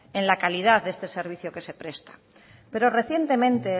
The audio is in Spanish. en la calidad de este servicio que se presta pero recientemente